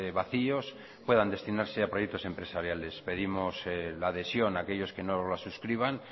vacios puedan destinarse a proyectos empresariales pedimos la adhesión a aquellos que no la suscriban